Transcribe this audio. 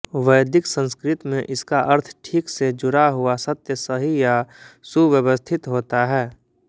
वैदिक संस्कृत में इसका अर्थ ठीक से जुड़ा हुआ सत्य सही या सुव्यवस्थित होता है